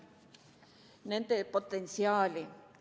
... et realiseerida nende potentsiaali.